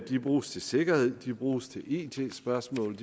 de bruges til sikkerhed de bruges til it spørgsmål